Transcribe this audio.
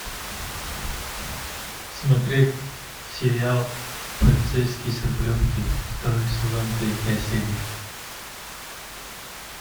смотреть сериал полицейский с рублевки второй сезон третья серия